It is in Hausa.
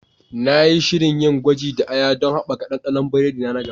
Na yi shirin yin gwaji da aya don haɓaka ɗanɗanon biredi na na gaba.